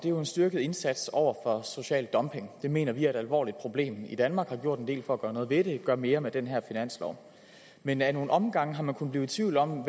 er jo en styrket indsats over for social dumping det mener vi er et alvorligt problem i danmark vi har gjort en del for gøre noget ved det og gør mere med den her finanslov men ad nogle omgange har man kunnet blive i tvivl om